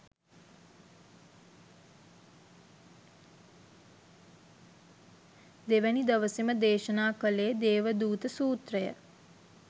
දෙවැනි දවසෙම දේශනා කළේ දේවදූත සූත්‍රය.